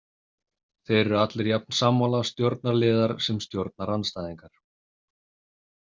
Þeir eru allir jafn sammála, stjórnarliðar sem stjórnarandstæðingar.